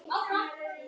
Elsku Inga.